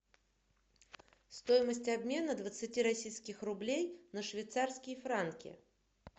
стоимость обмена двадцати российских рублей на швейцарские франки